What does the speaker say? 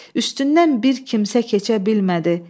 Üstündən bir kimsə keçə bilmədi.